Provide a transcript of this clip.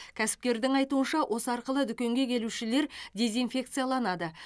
кәсіпкердің айтуынша осы арқылы дүкенге келушілер дезинфекцияланды